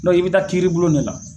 Donki i bɛ taa kiri bulon de la.